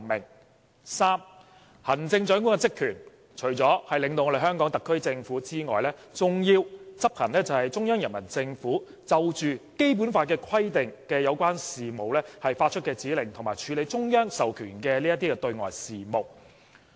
第三，行政長官的職權除了領導香港特區政府之外，還要執行中央人民政府就《基本法》規定的有關事務發出的指令，以及處理中央授權的對外事務。